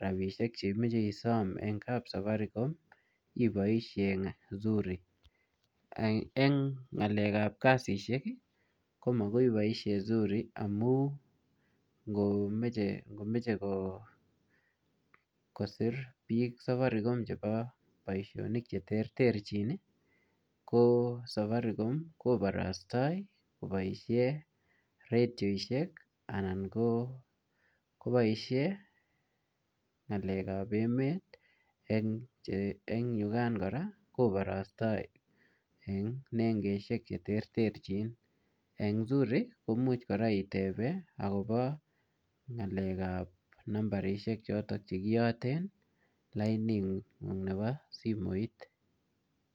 rabisiek che imeche isom eng kap safaricom, iboisie zuri. Eng ng'alek ap kasishek, komagoi iboisie zuri amu ngomeche-ngomeche ko-kosir safaricom chebo obisonik che terterchin, safaricom koborostoi koboisie redioshek anan ko-koboisie ng'alek ap emet eng yukaan kora, koborostoi eng nengeshek che terterchin. Eng zuri, komuch kora itebe akobo ng'alek ap nambarishek chotok che kiyate lainik ngung' nebo simoit.